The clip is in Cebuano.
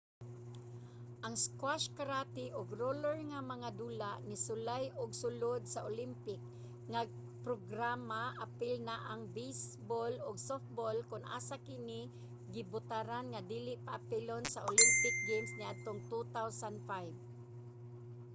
ang squash karate ug roller nga mga dula nisulay ug sulod sa olympic nga programa apil na ang baseball ug softball kon asa kini gibotaran nga dili paapilon sa olympic games niadtong 2005